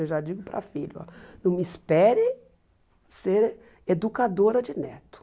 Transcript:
Eu já digo para filho, não me espere ser educadora de neto.